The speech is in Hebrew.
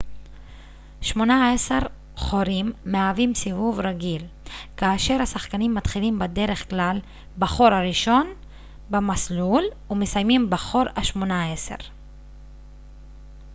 שמונה עשר חורים מהווים סיבוב רגיל כאשר השחקנים מתחילים בדרך כלל בחור הראשון במסלול ומסיימים בחור השמונה עשר